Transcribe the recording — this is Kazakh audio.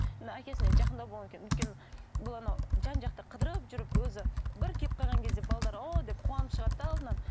мына әкесіне жақындау болғаннан кейін өйткені бұл анау жан жақты қыдырып жүріп өзі бір келіп қалған кезде о деп қуанып шығады да алдынан